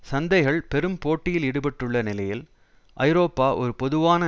சந்தைகள் பெரும் போட்டியில் ஈடுபட்டுள்ள நிலையில் ஐரோப்பா ஒரு பொதுவான